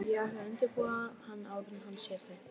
Ég ætla að undirbúa hann áður en hann sér þig